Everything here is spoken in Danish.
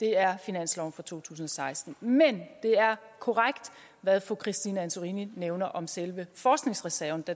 er finansloven for to tusind og seksten men det er korrekt hvad fru christine antorini nævner om selve forskningsreserven